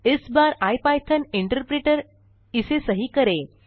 इस बार IPython interpreter इसे सही करें